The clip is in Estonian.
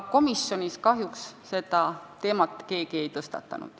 Komisjonis kahjuks seda teemat keegi ei tõstatanud.